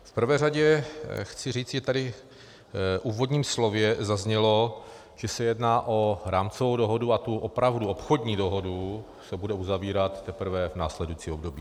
V prvé řadě chci říci, že tady v úvodním slově zaznělo, že se jedná o rámcovou dohodu a ta opravdu obchodní dohoda se bude uzavírat teprve v následujícím období.